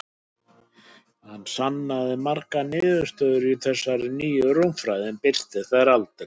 Hann sannaði margar niðurstöður í þessari nýju rúmfræði, en birti þær aldrei.